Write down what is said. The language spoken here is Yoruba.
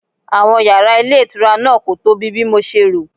Àwọn yàrá ilé ìtura náà kò tóbi bí mo ṣe rò.